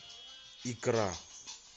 икра